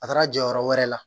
A taara jɔyɔrɔ wɛrɛ la